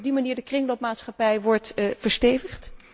Denkt u dat op die manier de kringloopmaatschappij wordt verstevigd?